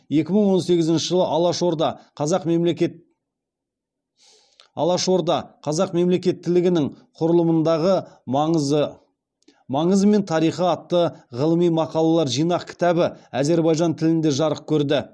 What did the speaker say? екі мың он сегізінші жылы алаш орда қазақ мемлекеттілігінің құрылымындағы маңызы мен тарихы атты ғылыми мақалалар жинақ кітабы әзербайжан тілінде жарық көрді